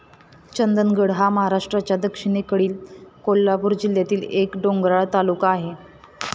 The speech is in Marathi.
चंदगड हा महाराष्ट्राच्या दक्षिणेकडील कोल्हापूर जिल्ह्यातील एक डोंगराळ तालुका आहे.